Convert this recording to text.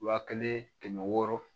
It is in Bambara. Wa kelen kɛmɛ wɔɔrɔ